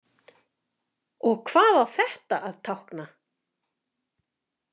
Og hvað á þetta að tákna?